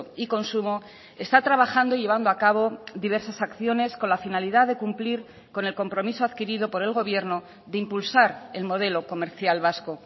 y consumo está trabajando llevando a cabo diversas acciones con la finalidad de cumplir con el compromiso adquirido por el gobierno de impulsar el modelo comercial vasco